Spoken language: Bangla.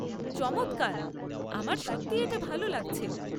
চমৎকার! আমার সত্যিই এটা ভাল লাগছে।